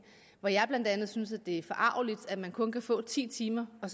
hvor jeg blandt andet synes det er forargeligt at man kun kan få ti timer og